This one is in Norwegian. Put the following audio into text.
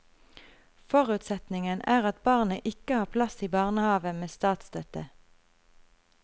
Forutsetningen er at barnet ikke har plass i barnehave med statsstøtte.